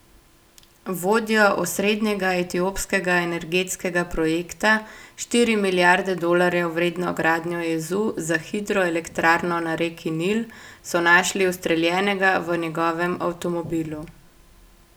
Vodjo osrednjega etiopskega energetskega projekta, štiri milijarde dolarjev vredno gradnjo jezu za hidroelektrarno na reki Nil, so našli ustreljenega v njegovem avtomobilu.